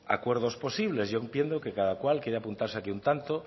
acuerdos posibles yo entiendo que cada cual quiera apuntarse aquí un tanto